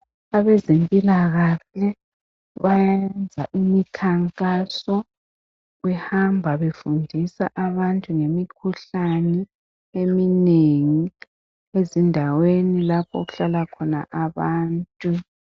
Abezempilakahle bayenza imikhankaso behamba befundisa abantu ngemikhuhlane eminengi ezindaweni lapho okuhlala khona abantu